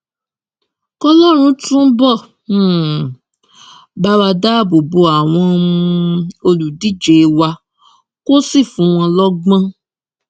kọlọrun túbọ um bá wa dáàbò bo àwọn um olùdíje wa kó sì fún wọn lọgbọn